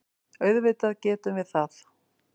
Auðvitað getum við það.